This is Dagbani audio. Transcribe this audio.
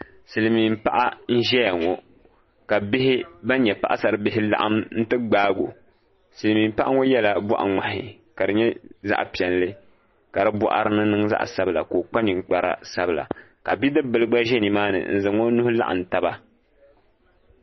Silmiin paɣa n ʒɛya ŋɔ ka bihi ban nyɛ paɣasaribihi laɣam n ti gbaagi o silmiin paɣa ŋɔ yɛla boɣa ŋmahi ka di nyɛ zaɣ piɛlli ka di boɣari ni niŋ zaɣ sabila ka o kpa ninkpari sabila ka bidib bili gba ʒɛ nimaani n zaŋ o nuhi laɣam taba